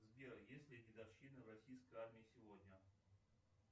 сбер есть ли дедовщина в российской армии сегодня